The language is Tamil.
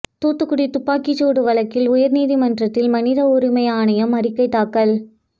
தூத்துக்குடி துப்பாக்கிச்சூடு வழக்கில் உயர்நீதிமன்றத்தில் மனித உரிமை ஆணையம் அறிக்கை தாக்கல்